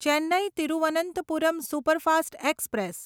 Chennai Thiruvananthapuram superfast express